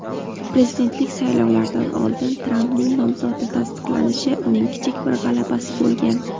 prezidentlik saylovlaridan oldin Trampning nomzodi tasdiqlanishi uning kichik bir g‘alabasi bo‘lgan.